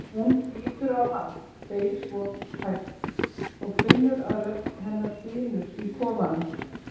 Hún lítur á hann, segir svo hægt og finnur að rödd hennar dynur í kofanum.